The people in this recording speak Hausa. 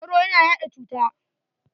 Soro ya na yaɗa cuta.